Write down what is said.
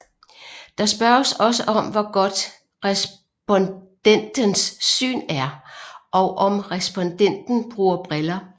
Der spørges også om hvor hvor godt respondentens syn er og om respondenten bruger briller